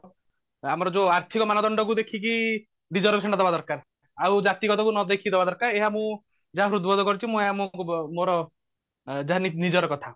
ଆମର ଯୋଉ ଆର୍ଥିକ ମାନଦଣ୍ଡ କୁ ଦେଖିକି reservation ଟା ଦବା ଦରକାର ଆଉ ଜାତି ଗତ କୁ ନ ଦେଖିକି ଦବା ଦରକାର ଏହା ମୁଁ ଯାହା ହୃଦବୋଧ କରୁଛି ମୁଁ ଏହା ମୁଁ ମୋର ଯାହା ନି ନିଜର କଥା